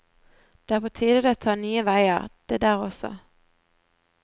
Det er på tide det tar nye veier, det der også.